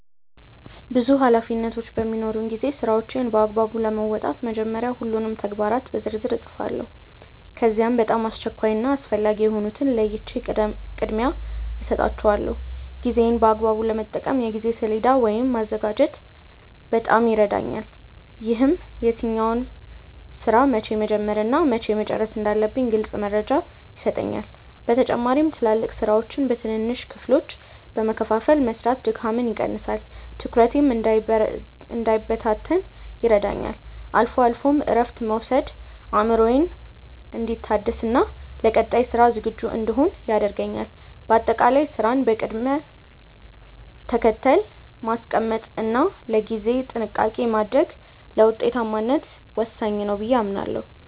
ብዙ ኃላፊነቶች በሚኖሩኝ ጊዜ ስራዎቼን በአግባቡ ለመወጣት መጀመሪያ ሁሉንም ተግባራት በዝርዝር እጽፋቸዋለሁ። ከዚያም በጣም አስቸኳይ እና አስፈላጊ የሆኑትን ለይቼ ቅድሚያ እሰጣቸዋለሁ። ጊዜዬን በአግባቡ ለመጠቀም የጊዜ ሰሌዳ ወይም ማዘጋጀት በጣም ይረዳኛል። ይህም የትኛውን ስራ መቼ መጀመር እና መቼ መጨረስ እንዳለብኝ ግልጽ መረጃ ይሰጠኛል። በተጨማሪም ትላልቅ ስራዎችን በትንንሽ ክፍሎች በመከፋፈል መስራት ድካምን ይቀንሳል፤ ትኩረቴም እንዳይበታተን ይረዳኛል። አልፎ አልፎም እረፍት መውሰድ አእምሮዬ እንዲታደስና ለቀጣይ ስራ ዝግጁ እንድሆን ያደርገኛል። በአጠቃላይ ስራን በቅደም ተከተል ማስቀመጥ እና ለጊዜ ጥንቃቄ ማድረግ ለውጤታማነት ወሳኝ ነው ብዬ አምናለሁ።